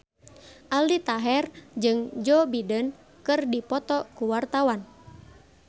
Aldi Taher jeung Joe Biden keur dipoto ku wartawan